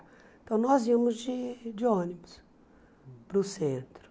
Então, nós íamos de de ônibus para o centro.